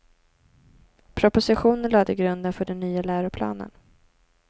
Propositionen lade grunden för den nya läroplanen.